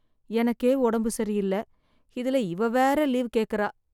எனக்கே உடம்பு சரியில்ல. இதுல இவ வேற லீவ் கேக்கறா.